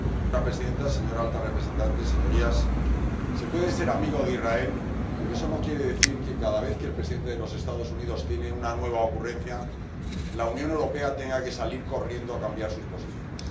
Señora presidenta, señora alta representante, señorías, se puede ser amigo de Israel, pero eso no quiere decir que cada vez que el presidente de los Estados Unidos tiene una nueva ocurrencia, la Unión Europea tenga que salir corriendo a cambiar sus posiciones.